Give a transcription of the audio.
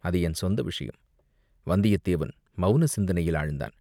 அது என் சொந்த விஷயம்." வந்தியத்தேவன் மௌன சிந்தனையில் ஆழ்ந்தான்.